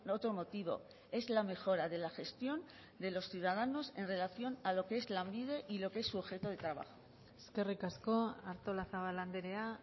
otro motivo es la mejora de la gestión de los ciudadanos en relación a lo que es lanbide y lo que es su objeto de trabajo eskerrik asko artolazabal andrea